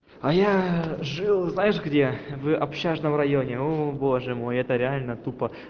а я жил знаешь где вы общажного районе о боже мой это реально тупо